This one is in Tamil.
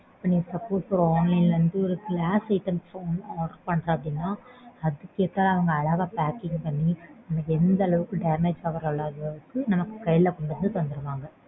நீ suppose ஒரு online ல வந்து ஒரு glass items வந்து order பண்ற அப்படினா அதுக்கேத்த அழகா packing பண்ணி உனக்கு எந்தளவுக்கு damage ஆகாத அளவுக்கு உனக்கு கைல கொண்டு வந்து தந்துருவாங்க